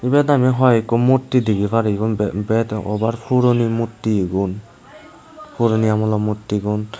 ebet aami hooeko murti degi pari eyun bet over puroni murti egun puroni aamolo murti gun.